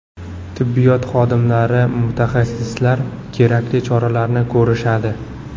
Tibbiyot xodimlari, mutaxassislar kerakli choralarni ko‘rishadi.